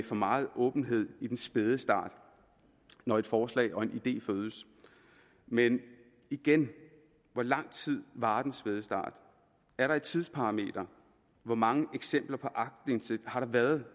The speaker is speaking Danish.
for meget åbenhed i den spæde start når et forslag og en idé fødes men igen hvor lang tid varer den spæde start er der et tidsparameter hvor mange eksempler på aktindsigt har der været